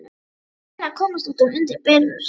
Feginn að komast út undir bert loft.